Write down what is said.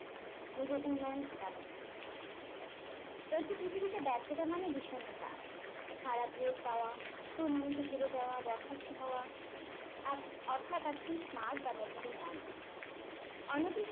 নিজের উন্নয়ন ঘটানো একটি পৃথিবীতে ব্যার্থতা মানে বিষণ্ণতা খারাপরে পাওয়া true moment এ হেরে যাওয়া বরখাস্ত হওয়া অর্থাৎ আপনি smart বা মেধাবী নন অন্য